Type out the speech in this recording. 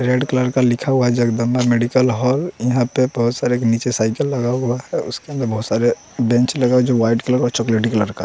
red colour का लिखा हुआ है जगदम्बा मेडिकल हॉल यहाँ पे बहुत सारे नीचे साइकिल लगा हुआ है उसके अंदर बहुत सारे बेंच लगा है जो वाइट कलर और चॉकलेटी कलर का --